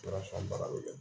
Ala sɔn ba dɛ